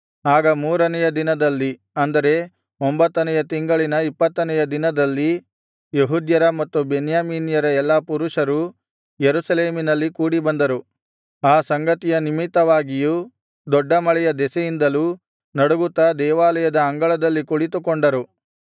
ಆಗ ಮೂರನೆಯ ದಿನದಲ್ಲಿ ಅಂದರೆ ಒಂಭತ್ತನೆಯ ತಿಂಗಳಿನ ಇಪ್ಪತ್ತನೆಯ ದಿನದಲ್ಲಿ ಯೆಹೂದ್ಯರ ಮತ್ತು ಬೆನ್ಯಾಮೀನ್ಯರ ಎಲ್ಲಾ ಪುರುಷರೂ ಯೆರೂಸಲೇಮಿನಲ್ಲಿ ಕೂಡಿಬಂದರು ಆ ಸಂಗತಿಯ ನಿಮಿತ್ತವಾಗಿಯೂ ದೊಡ್ಡ ಮಳೆಯ ದೆಸೆಯಿಂದಲೂ ನಡುಗುತ್ತಾ ದೇವಾಲಯದ ಅಂಗಳದಲ್ಲಿ ಕುಳಿತುಕೊಂಡರು